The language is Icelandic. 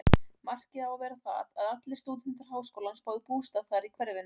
Markið á að vera það, að allir stúdentar háskólans fái bústað þar í hverfinu.